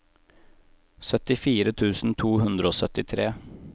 syttifire tusen to hundre og syttitre